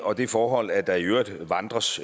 og det forhold at der i øvrigt vandres